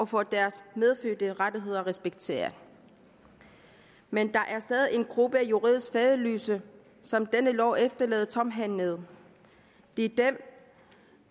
få deres medfødte rettigheder respekteret men der er stadig en gruppe af juridisk faderløse som denne lov efterlader tomhændede det er dem